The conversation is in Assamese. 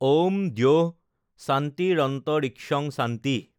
ঔম দ্যৌঃ শান্তিৰন্তৰিক্ষং শান্তিঃ,